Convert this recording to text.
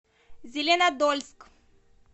зеленодольск